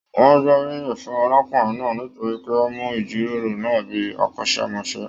Wọn gboriyin fún arákùnrin náà nítorí pé o mu ijiroro náà bíi akọ́sẹmọ́sẹ́.